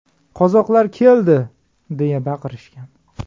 Qozoqlar keldi!” deya baqirishgan.